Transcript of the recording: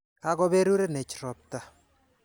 Kakoperurenech ropta.